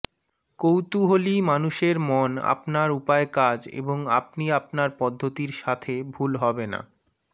কৌতূহলী মানুষের মন আপনার উপায় কাজ এবং আপনি আপনার পদ্ধতির সাথে ভুল হবে না